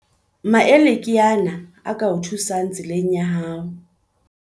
Maele ke ana a ka o thusang tseleng ya hao.